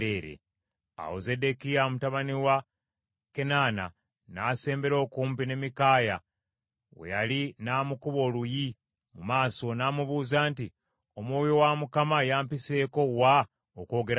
Awo Zeddekiya mutabani wa Kenaana n’asembera okumpi ne Mikaaya we yali n’amukuba oluyi mu maaso, n’amubuuza nti, “Omwoyo wa Mukama yampiseeko wa okwogera naawe?”